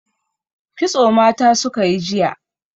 Kitso mata suka yi jiya.